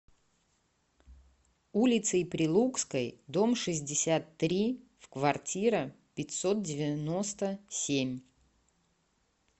улицей прилукской дом шестьдесят три в квартира пятьсот девяносто семь